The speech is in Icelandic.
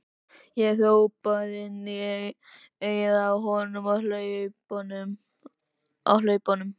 Ég hrópaði inn í eyrað á honum á hlaupunum.